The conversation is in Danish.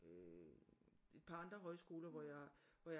Øh et par andre højskoler hvor jeg hvor